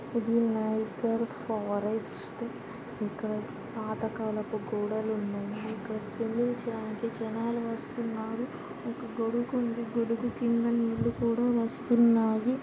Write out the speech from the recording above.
ఇది Niagara forest. ఇక్కడ పాతకాలపు గోడలు ఉన్నాయి. ఇక్కడ స్విమ్మింగ్ చేయడానికి జనాలు వస్తున్నారు. ఒక గొడుగు ఉంది గొడుగు కింద నీళ్లు కూడా వస్తున్నాయి.